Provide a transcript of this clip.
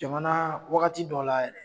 Jamana wagati dɔ la yɛrɛ